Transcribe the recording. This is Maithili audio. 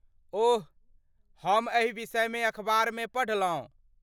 ओह, हम एहि विषयमे अखबारमे पढ़लहुँ।